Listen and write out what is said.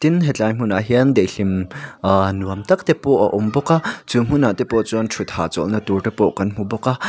tin hetlai hmunah hian daihlim aaa nuam tak te pawh a awm bawk a chu hmunah te pawh chuan thut hahchawlhna tur te pawh kan hmu bawk a.